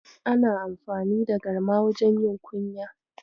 Ana amfani da garma wajen yin kunya.